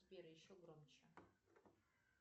сбер еще громче